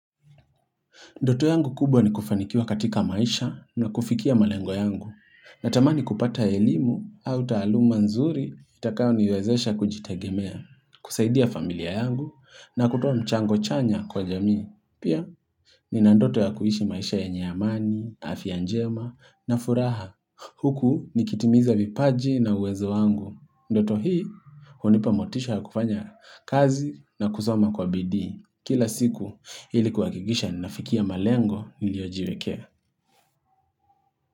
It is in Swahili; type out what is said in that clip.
Ndoto yangu kubwa ni kufanikiwa katika maisha na kufikia malengo yangu. Natamani kupata elimu au taaluma nzuri itakayoniwezesha kujitegemea, kusaidia familia yangu na kutuwa mchango chanya kwa jami. Pia nina ndoto ya kuishi maisha yenye amani, afya njema na furaha. Huku nikitimiza vipaji na uwezo wangu. Ndoto hii hunipa motisha ya kufanya kazi na kusoma kwa BD. Kila siku ili kuhakikisha ninafikia malengo niliyojiwekea.